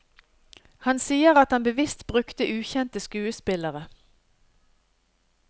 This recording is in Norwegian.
Han sier at han bevisst brukte ukjente skuespillere.